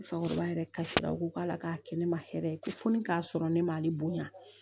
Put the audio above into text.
Fakɔrɔba yɛrɛ kasira u ko k'a la k'a kɛ ne man hɛrɛ ye ko foli k'a sɔrɔ ne ma ne bonya